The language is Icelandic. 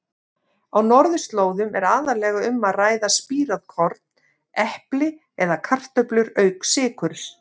Á norðurslóðum er aðallega um að ræða spírað korn, epli eða kartöflur auk sykurs.